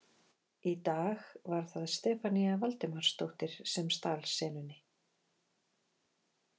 Í dag var það Stefanía Valdimarsdóttir sem stal senunni.